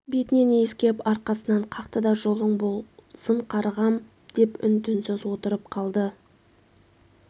бетінен иіскеп арқасынан қақты да жолың болсын қарғам деп үн-түнсіз отырып қалды